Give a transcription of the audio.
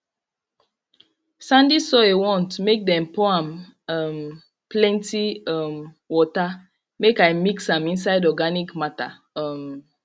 sandy soil want make dem dem pour am um plenty um water make i mix am inside organic matter um